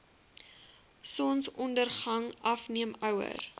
sonsondergang afneem ouer